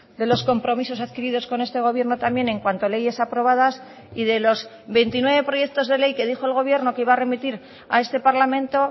de los compromisos adquiridos con este gobierno también en cuanto a leyes aprobadas y de los veintinueve proyectos de ley que dijo el gobierno que iba a remitir a este parlamento